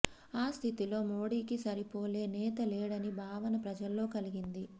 ఈ స్థితిలో మోడికి సరిపోలే నేత లేడని భావన ప్రజలో కలిగింది